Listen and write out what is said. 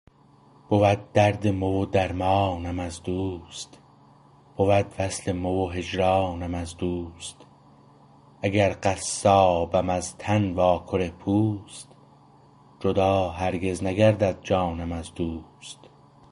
بود درد مو و درمانم از دوست بود وصل مو و هجرانم از دوست اگر قصابم از تن واکره پوست جدا هرگز نگردد جانم از دوست